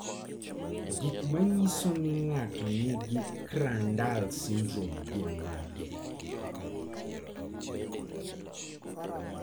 Gik manyiso ni ng'ato nigi Crandall syndrome gin mage?